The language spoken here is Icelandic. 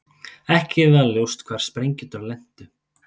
Ekki var ljóst hvar sprengjurnar lentu